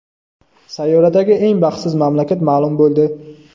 Sayyoradagi eng baxtsiz mamlakat ma’lum bo‘ldi.